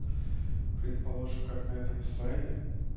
предположим как на этом слайде